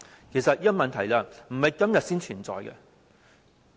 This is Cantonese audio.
其實這個問題並非今天才存在。